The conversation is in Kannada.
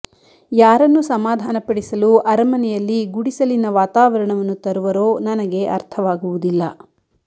ಯಾರನ್ನು ಸಮಾಧಾನ ಪಡಿಸಲು ಅರಮನೆಯಲ್ಲಿ ಗುಡಿಸಲಿನ ವಾತಾವರಣವನ್ನು ತರುವರೋ ನನಗೆ ಅರ್ಥವಾಗುವುದಿಲ್ಲ